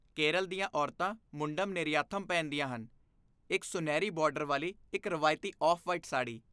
ਕੇਰਲ ਦੀਆਂ ਔਰਤਾਂ ਮੁੰਡਮ ਨੇਰੀਆਥਮ ਪਹਿਨਦੀਆਂ ਹਨ, ਇੱਕ ਸੁਨਹਿਰੀ ਬਾਰਡਰ ਵਾਲੀ ਇੱਕ ਰਵਾਇਤੀ ਆਫ਼ ਵਾਈਟ ਸਾੜੀ